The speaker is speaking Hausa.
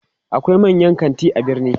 akwai manyan kanti a birni